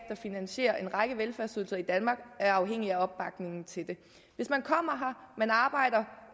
finansierer en række velfærdsydelser i danmark er afhængig af opbakningen til det hvis man kommer her man arbejder